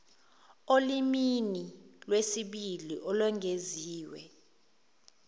olimini lwesibili olwengeziwe